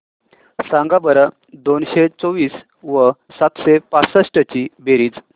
सांगा बरं दोनशे चोवीस व सातशे बासष्ट ची बेरीज